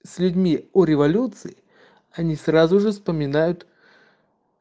с людьми о революции они сразу же вспоминают